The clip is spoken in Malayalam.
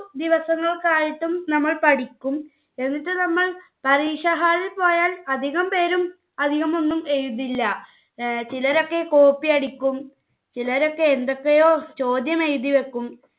ദിവസങ്ങൾക്കായിട്ടും നമ്മൾ പഠിക്കും. എന്നിട്ട് നമ്മൾ പരീക്ഷ hall ൽ പോയാൽ അധികം പേരും അധികമൊന്നും എഴുതില്ല. ചിലരൊക്കെ copy അടിക്കും. ചിലരൊക്കെ എന്തൊക്കെയോ ചോദ്യം എഴുതിവെക്കും.